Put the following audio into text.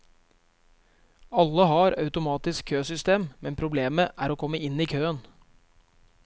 Alle har automatisk køsystem, men problemet er å komme inn i køen.